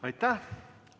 Aitäh!